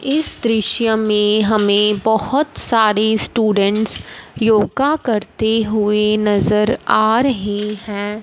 इस दृश्य में हमे बहोत सारे स्टूडेंट्स योगा करते हुएं नजर आ रहें हैं।